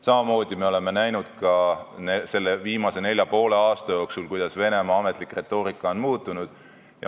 Samamoodi oleme näinud ka viimase nelja ja poole aasta jooksul, kuidas Venemaa ametlik retoorika on muutunud.